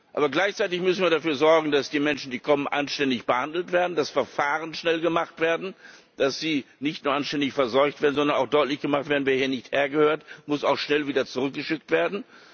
Aber gleichzeitig müssen wir dafür sorgen, dass die Menschen, die kommen, anständig behandelt werden, dass Verfahren schnell gemacht werden, dass die Menschen nicht nur anständig versorgt werden, sondern dass auch deutlich gemacht wird Wer hier nicht hergehört, muss auch schnell wieder zurückgeschickt werden.